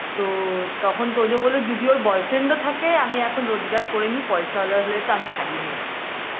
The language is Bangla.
তো তখন তোজো বললো যদি ওর boyfriend ও থাকে আমি এখন রোজগার করেনি পয়সাওয়ালা হলে তো আমি ছড়িয়ে নেবো